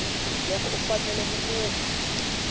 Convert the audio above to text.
loko u fanele ku kuma